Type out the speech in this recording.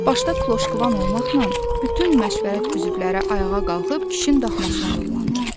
başda Kloşqvan olmaqla bütün məşvərət üzvləri ayağa qalxıb kişinin daxmasına yollandı.